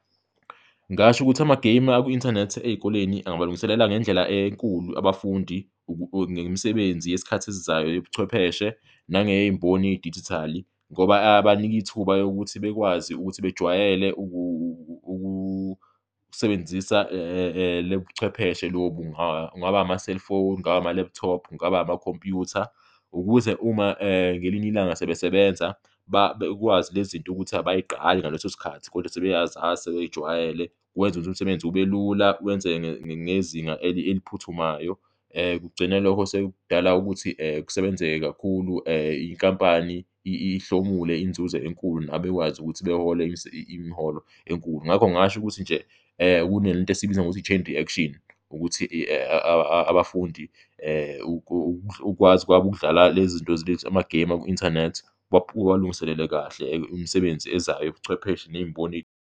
Ngingasho ukuthi ama-game aku inthanethi ey'koleni angabalungiselela ngendlela enkulu abafundi ngemisebenzi yesikhathi esizayo yobuchwepheshe nangey'mboni yedijithali ngoba abanika ithuba lokuthi bekwazi ukuthi bejwayele ukusebenzisa lobuchwepheshe lobu , kungaba ama-cellphone, kungaba ama-laptop, kungaba amakhompuyutha, ukuze uma ngelinye ilanga sebesebenza, bekwazi lezinto ukuthi abayiqali ngaleso sikhathi kodwa sebeyazazi, sebey'jwayele. Kwenza ukuthi umsebenzi ubelula, wenzeke ngezinga eliphuthumayo, kugcine loko sekudala ukuthi kusebenzeke kakhulu, inkampani ihlomule inzuzo enkulu nabo bekwazi ukuthi behole imiholo enkulu. Ngakho ngingasho ukuthi nje kunalento esiyibiza ngokuthi i- action, ukuthi abafundi ukwazi kwabo ukudlala le zinto lezi, ama-game aku inthanethi ubalungiselele kahle imisebenzi ezayo yobuchwepheshe ney'mboni.